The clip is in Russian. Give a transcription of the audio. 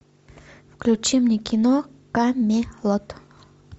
включи мне кино камелот